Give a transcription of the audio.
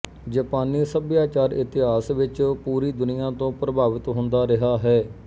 ਜਪਾਨੀ ਸੱਭਿਆਚਾਰ ਇਤਿਹਾਸ ਵਿੱਚ ਪੂਰੀ ਦੁਨੀਆ ਤੋਂ ਪ੍ਰਭਾਵਿਤ ਹੁੰਦਾ ਰਿਹਾ ਹੈ